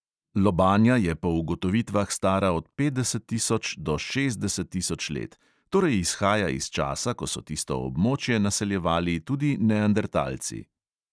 Lobanja je po ugotovitvah stara od petdeset tisoč do šestdeset tisoč let, torej izhaja iz časa, ko so tisto območje naseljevali tudi neandertalci.